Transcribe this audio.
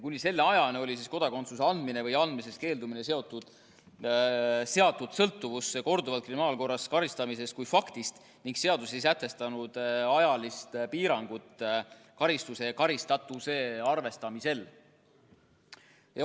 Kuni selle ajani oli kodakondsuse andmine või andmisest keeldumine seatud sõltuvusse korduvalt kriminaalkorras karistamisest kui faktist ning seadus ei sätestanud ajalist piirangut karistuse ja karistatuse arvestamisel.